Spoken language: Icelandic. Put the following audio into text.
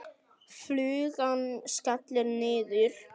Flugan skellur niður.